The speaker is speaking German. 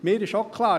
Mir ist auch klar: